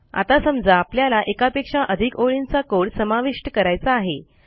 आता समजा आपल्याला एकापेक्षा अधिक ओळींचा कोड समाविष्ट करायचा आहे